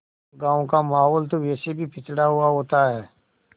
गाँव का माहौल तो वैसे भी पिछड़ा हुआ होता है